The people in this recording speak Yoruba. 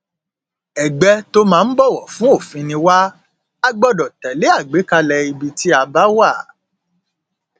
ẹgbẹ tó máa ń bọwọ fún òfin ni wà á gbọdọ tẹlé àgbékalẹ ibi tí a bá wà